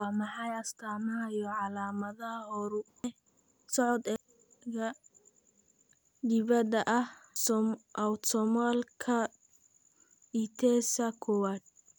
Waa maxay astamaha iyo calaamadaha Horu-socod ee ophthalmoplegika dibadda ah, autosomalka dithesa kowaad?